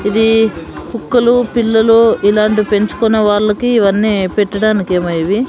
ఇది కుక్కలు పిల్లులు ఇలాంటి పెంచుకున్న వాళ్ళకి ఇవన్నీ పెట్టడానికేమో ఇవి.